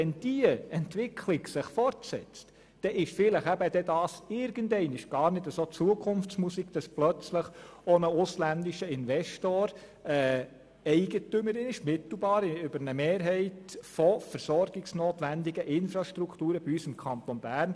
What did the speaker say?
Wenn sich diese Entwicklung fortsetzt, dann ist diese Befürchtung vielleicht irgendeinmal nicht mehr Zukunftsmusik, und ein ausländischer Investor ist plötzlich mittels einer Mehrheit Eigentümer versorgungsnotwendiger Infrastrukturen bei uns im Kanton Bern.